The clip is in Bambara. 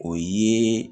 O ye